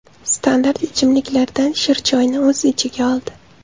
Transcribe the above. Standart ichimliklardan shirchoyni o‘z ichiga oldi.